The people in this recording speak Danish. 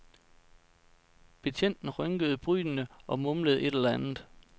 Betjenten rynkede brynene og mumlede et eller andet.